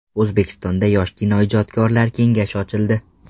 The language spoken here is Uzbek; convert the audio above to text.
O‘zbekistonda yosh kinoijodkorlar kengashi ochildi.